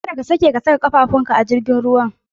Kada ka sake ka sa ƙafafun ka a cikin jirgin ruwan